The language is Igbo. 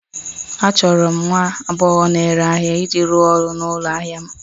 Achọrọ m nwa agbọghọ na-ere ahịa iji rụọ ọrụ n'ụlọ ahịa m